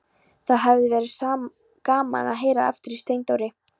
Það hafði verið gaman að heyra aftur í Steindóri.